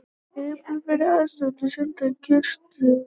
Eyðublöð fyrir aðstoðarmenn send kjörstjórnum